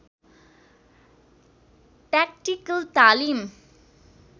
tactical तालिम